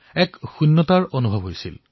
ৰিক্তযেন অনুভৱ কৰিছিলো